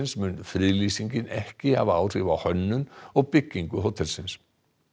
mun friðlýsingin ekki hafa áhrif á hönnun og byggingu hótelsins